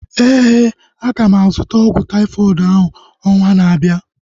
Éè, aga m azụta ọgwụ taifọdụ ahu ọnwa na-abịa